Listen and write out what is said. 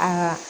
Aa